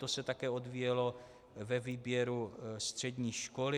To se také odvíjelo ve výběru střední školy.